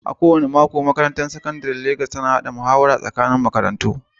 A kowane mako a Makarantar Sakandare ta Legas, ƙwararren yana tsara dabarun tafiyar da muhawar tsakanin makarantu.